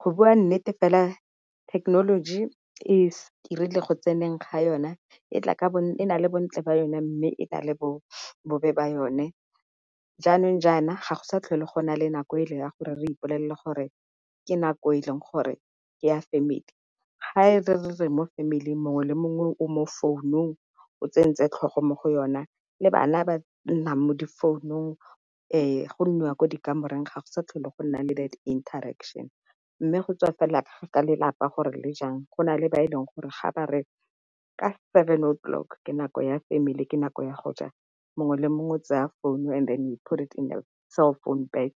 Go bua nnete fela thekenoloji erile go tseneng ga yona e na le bontle ba yona, mme e Na le bobe ba yone. Jaanong jaana ga go sa tlhole go na le nako e le ya gore re ipolelele gore ke nako e leng gore ke ya family. Ga e re re mo family mongwe le mongwe o mo founung o tsentse tlhogo mo go yona le bana ba nnang mo difounung, go nniwa ko dikamoreng ga go sa tlhole go nna le that interection. Mme go tswa fela ka lelapa gore le jang, go na le ba e leng gore ga ba re ka seven 'o clock ke nako ya family ka nako ya go ja mongwe le mongwe tseya phone and put it in a cellphone bag.